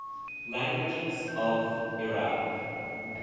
languages of iraq